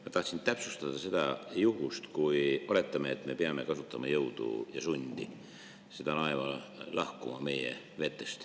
Ma tahtsin täpsustada sellist juhtumit: oletame, et me peame kasutama jõudu ja sundima laeva meie vetest lahkuma.